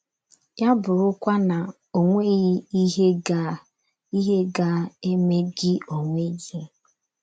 Ya bụrụkwa na o nweghị ihe ga ihe ga - eme gị onwe gị!